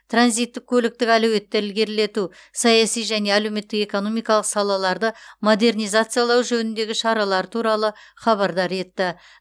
транзиттік көліктік әлеуетті ілгерілету саяси және әлеуметтік экономикалық салаларды модернизациялау жөніндегі шаралары туралы хабардар етті